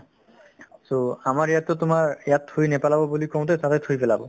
so, আমাৰ ইয়াততো তোমাৰ ইয়াত থুই নেপেলাব বুলি কওঁতে তাতে থুই পেলাব